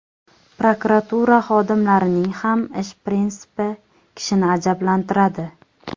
Prokuratura xodimlarining ham ish prinsipi kishini ajablantiradi.